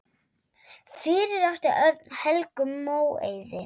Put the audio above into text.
Fyrir átti Örn Helgu Móeiði.